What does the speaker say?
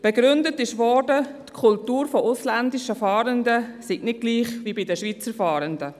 Begründet wurde es damit, dass die Kultur der ausländischen Fahrenden nicht gleich ist wie die der Schweizer Fahrenden.